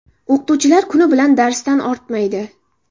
O‘qituvchilar kuni bilan darsdan ortmaydi.